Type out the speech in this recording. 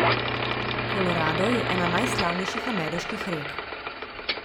Kolorado je ena najslavnejših ameriških rek.